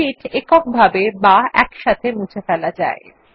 sheet এককভাবে বা একসাথে মুছে ফেলা যায়